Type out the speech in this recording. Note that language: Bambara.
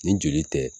Nin joli tɛ